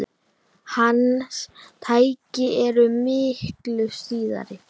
Hans tæki eru miklu síðri.